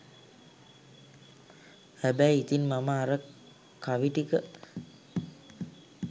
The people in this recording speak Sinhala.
හැබැයි ඉතින් මම අර කවි ටික